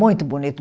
Muito bonito.